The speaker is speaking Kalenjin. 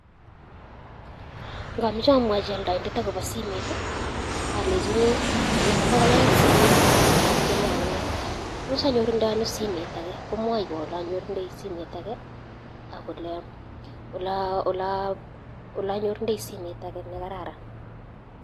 Yon amoche amwochi alindet akobo simet alenyini kokoyait simenyun i,tos anyorunde anoo simetage, komwoon kole tos anyorundee anoo simetage ak oleanyorundoi simetage nekararan.